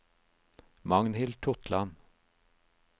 Magnhild Totland